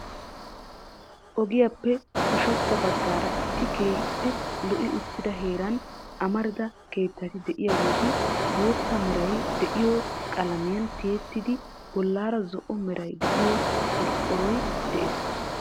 Ogiyappe ushachcha baggaara issi keehippe lo"i uttida heeran amarida keettati de'iyaageeti bootta meray de'iyo qalamiyaan tiyyeettidi bollaara zo'o meray de'iyo qorqqoroy de'ees.